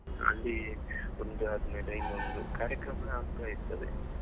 ಅಲ್ಲಿ ಒಂದ್ ಆದ್ಮೇಲೆ ಇನ್ನೊಂದ್ ಕಾರ್ಯಕ್ರಮ ಆಗ್ತಾ ಇರ್ತದೆ.